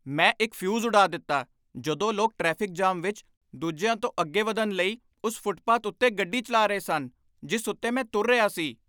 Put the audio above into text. ਮੈਂ ਇੱਕ ਫਿਊਜ਼ ਉਡਾ ਦਿੱਤਾ ਜਦੋਂ ਲੋਕ ਟ੍ਰੈਫਿਕ ਜਾਮ ਵਿੱਚ ਦੂਜਿਆਂ ਤੋਂ ਅੱਗੇ ਵਧਣ ਲਈ ਉਸ ਫੁੱਟਪਾਥ ਉੱਤੇ ਗੱਡੀ ਚਲਾ ਰਹੇ ਸਨ ਜਿਸ ਉੱਤੇ ਮੈਂ ਤੁਰ ਰਿਹਾ ਸੀ।